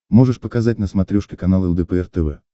можешь показать на смотрешке канал лдпр тв